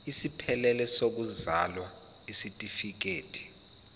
esiphelele sokuzalwa isitifikedi